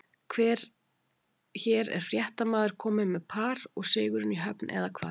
Hér er fréttamaður kominn með par og sigurinn í höfn, eða hvað?